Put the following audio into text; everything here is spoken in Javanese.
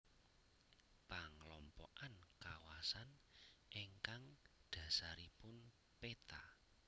Panglompokan kawasan ingkang dhasaripun peta